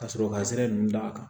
Ka sɔrɔ ka sira nunnu da a kan